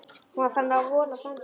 Hún var farin að vola stanslaust.